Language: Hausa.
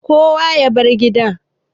kowa ya bar gida